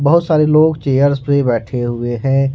बहुत सारे लोग चेयर्स पे बैठे हुए हैं।